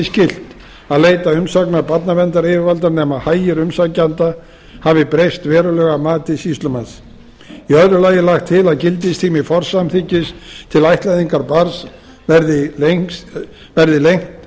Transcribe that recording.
skylt að leita umsagnar barnaverndaryfirvalda nema hagir umsækjenda hafi breyst verulega að mati sýslumanns í öðru lagi er lagt til að gildistími forsamþykkis til ættleiðingar barns verði lengdur tíminn verði